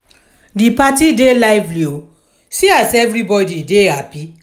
di party dey lively o see as everybodi dey happy.